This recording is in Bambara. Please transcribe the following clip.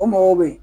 O mɔgɔw bɛ yen